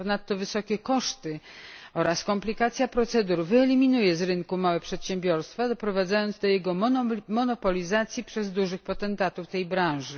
Ponadto wysokie koszty oraz komplikacja procedur wyeliminuje z rynku małe przedsiębiorstwa, doprowadzając do jego monopolizacji przez dużych potentatów tej branży.